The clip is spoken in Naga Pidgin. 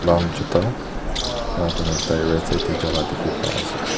lal juta enkakura tai right side tae jala dikhipa ase.